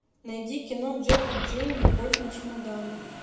найди кино джек и джилл любовь на чемоданах